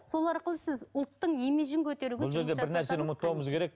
сол арқылы ұлттың имиджін көтеруге